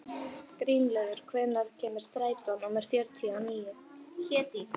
Grímlaugur, hvenær kemur strætó númer fjörutíu og níu?